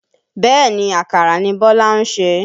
Bẹ́ẹ̀ni, àkàrà ni Bọ́lá ń sè.